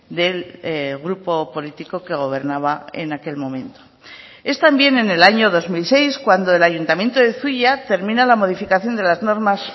del grupo político que gobernaba en aquel momento es también en el año dos mil seis cuando el ayuntamiento de zuia termina la modificación de las normas